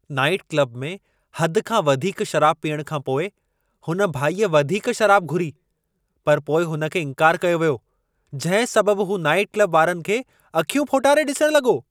Night club में हद खां वधीक शराब पीअण खां पोइ हुन भाईअ वधीक शराब घुरी पर पोइ हुन खे इंकार कयो वियो जंहिं सबबु हू नाइट क्लब वारनि खे अखियूं फोटारे डिसणु लॻो।